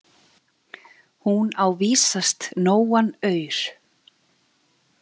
Hún á vísast nógan aur.